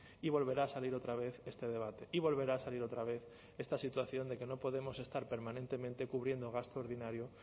y volverá a salir otra vez este debate y volverá a salir otra vez esta situación de que no podemos estar permanentemente cubriendo gasto ordinario